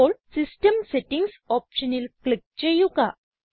ഇപ്പോൾ system settings ഓപ്ഷനിൽ click ചെയ്യുക